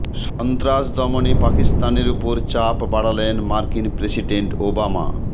সন্ত্রাস দমনে পাকিস্তানের ওপর চাপ বাড়ালেন মার্কিন প্রেসিডেন্ট ওবামা